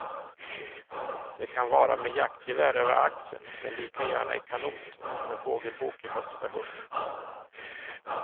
Det kan vara med jaktgevär över axeln men lika gärna i kanot och med fågelbok i högsta hugg.